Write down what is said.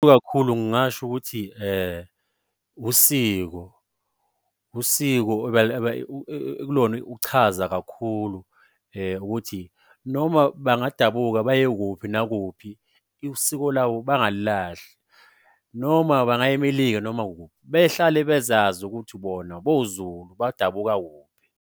Ikakhulu ngingasho ukuthi usiko ekulona uchaza kakhulu ukuthi noma bangadabuka baye kuphi nakuphi isiko lawo bangawulahli. Noma bangaya eMelika noma kuphi, behlale bezazi ukuthi bona boZulu badabuka kuphi.